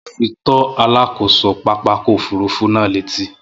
Mo ti lọ fi tó alákòso pápákọ̀ òfurufú náà létí